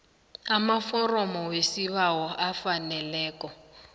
amaforomo wesibawo afaneleko